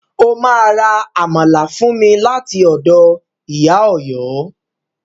Ó ma ra Àmàlà fún mi láti ọ̀dọ̀ Ìyá Ọ̀yọ́